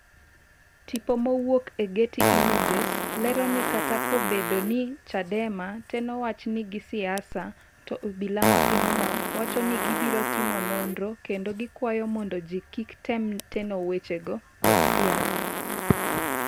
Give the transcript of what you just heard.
tipo mowuok e Getty images lero ni kata kobedo ni Chadema teno wach ni gi siasa, to obila ma pinyno wacho ni gibiro timo nonro kendo gikwayo mondo jii kik tem teno wechego kod siasa